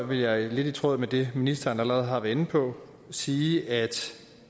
vil jeg lidt i tråd med det ministeren allerede har været inde på sige at